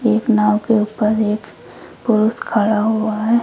एक नाव के ऊपर एक पुरुष खड़ा हुआ है।